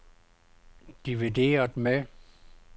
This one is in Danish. divideret med